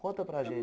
Conta para gente.